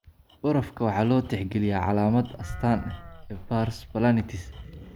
Barafka barafka waxaa loo tixgeliyaa calaamad "astaan" ee pars planitis.